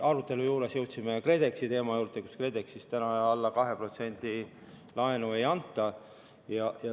Aruteluga jõudsime KredExi teema juurde, kuidas KredEx-is täna alla 2% intressiga laenu ei anta.